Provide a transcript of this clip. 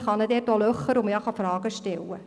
Man kann dabei kritische Fragen stellen.